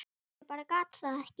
Ég bara gat það ekki.